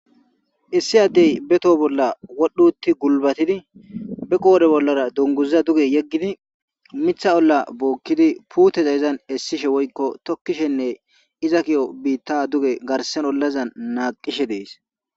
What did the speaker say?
Issi addey be toho bolla wodhdhi uutidi guulbattidi be qodhdhe bollara duunguza yeggidi miththa olla bookiddi miththa izan garssan dugge naqqishe dess.